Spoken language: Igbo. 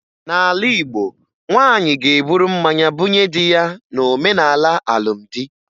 N'ala Igbo, nwaanyị ga-eburu mmanya bunye di ya n'omenala alụmdi